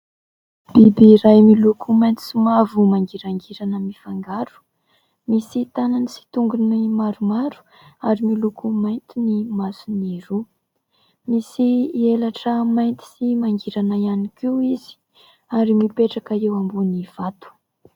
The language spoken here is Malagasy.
Biby iray miloko mainty sy mavo mangirangirana mifangaro. Misy tanany sy tongony maromaro ary miloko mainty ny masony roa. Misy elatra mainty sy mangirana ihany koa izy ary mipetraka eo ambony vato.